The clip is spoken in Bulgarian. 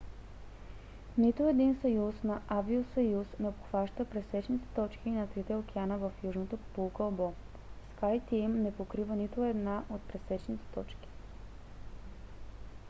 нито един съюз на авиосъюз не обхваща пресечните точки на трите океана в южното полукълбо skyteam не покрива нито една от пресечните точки